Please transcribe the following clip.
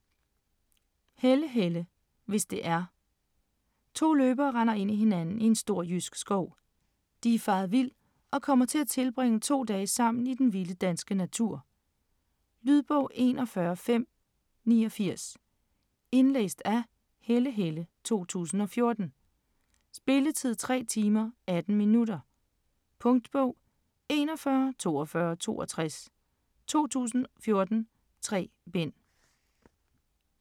Helle, Helle: Hvis det er To løbere render ind i hinanden i en stor jysk skov. De er faret vild og kommer til at tilbringe to dage sammen i den vilde danske natur. Lydbog 41569 Indlæst af Helle Helle, 2014. Spilletid: 3 timer, 18 minutter. Punktbog 414262 2014. 3 bind.